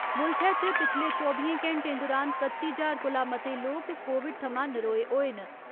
मुल्खै च पिछले चौबियें घैंटें दुरान कत्ती ज्हार कोला मते लोक कोविड थमां नरोए होए न।